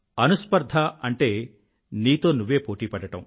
అనుస్పర్ధ అంటే నీతో నువ్వే పోటీ పడడం